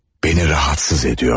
Beni rahatsız ediyor.